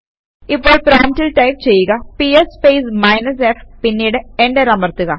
ഇപ്പോൾ പ്രോംപ്റ്റിൽ ടൈപ് ചെയ്യുകps സ്പേസ് മൈനസ് f പിന്നീട് എന്റർ അമർത്തുക